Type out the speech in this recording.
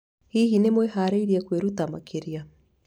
Hihi nĩwĩharĩirie kwĩruta makĩria?